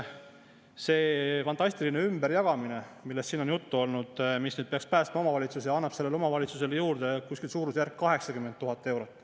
See fantastiline ümberjagamine, millest siin on juttu olnud, mis peaks päästma omavalitsused, annab omavalitsusele juurde suurusjärgus 80 000 eurot.